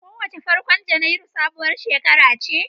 Kowace farkon Janairu sabuwar shekara ce.